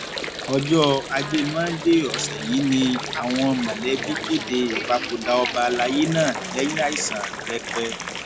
ọjọ ajé monde ọsẹ yìí ni àwọn mọlẹbí kéde ìpapòdà ọba àlàyé náà lẹyìn àìsàn rẹpẹ